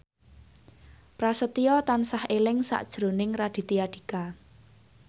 Prasetyo tansah eling sakjroning Raditya Dika